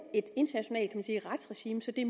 et internationalt kan man sige retsregime så det